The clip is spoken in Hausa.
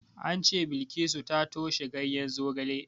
An ce Bilkisu ta toshe ganyen zogale.